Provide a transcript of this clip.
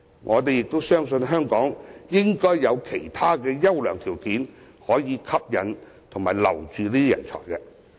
我們相信，香港應該有其他優良條件可以吸引和挽留人才。